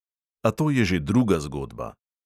A to je že druga zgodba!